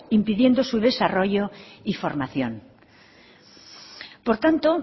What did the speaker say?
impidiendo su desarrollo y formación por tanto